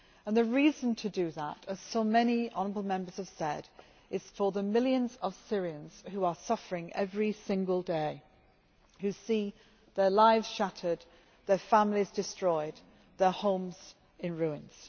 The reason to do that, as so many honourable Members have said, is for the sake of the millions of Syrians who are suffering every single day who see their lives shattered, their families destroyed, and their homes in ruins.